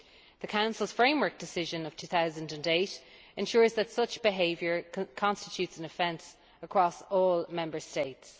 The Council's Framework Decision of 2008 ensures that such behaviour constitutes an offence across all Member States.